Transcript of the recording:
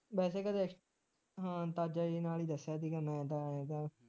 ਵੈਸੇ ਕਦੇ ਹਾਂ ਅੰਦਾਜੇ ਜੇ ਨਾਲ ਹੀ ਦੱਸਿਆ ਸੀਗਾ ਮੈਂ ਦਾ ਐਦਾ